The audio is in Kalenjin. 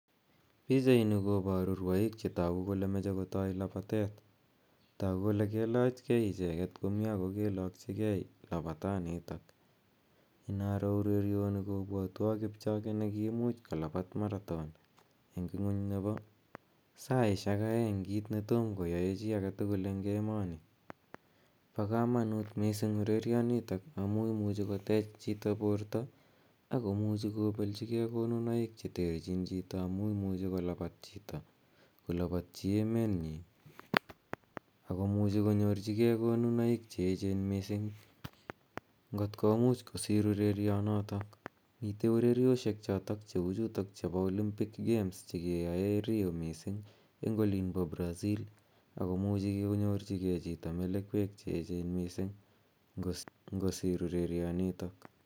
Pichait nii kobaruu kole rwaik chemachei kotai labatet ,taguu kole kailaach gei ichegeet ago kailakyigei labataan nitoon ina ror urerianii kobwatwaan kipchoge nekiimuch kolabaat [marathon] eng ngwaany nebo saisiek aeng kiit ne tomah koyae chii en emanii ,bo kamanut missing urerenian nitoon amuun imuuchei chitoo koteech borto akomuchei kobeljigei konunaik che tuteen amuun imuuchei kolabaat chitoo kolabaatyi emeenyiin ako imuche konyoorjigei konuunaik che eecheen missing, ngoot komuuch kosiir urerian notoon miten ureriosiek chotoon chebo [Olympics games] chekeyaen Rio missing en olimpoo [Brazil] agomuchii koinyorjigei chitoo melekweek missing kosiir ureren nitoon.